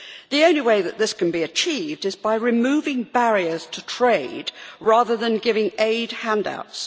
The only way that this can be achieved is by removing barriers to trade, rather than giving aid handouts.